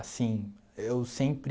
Assim, eu sempre...